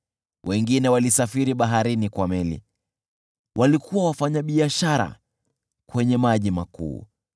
Wengine walisafiri baharini kwa meli, walikuwa wafanyabiashara kwenye maji makuu.